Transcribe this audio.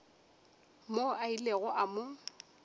moo a ilego a mo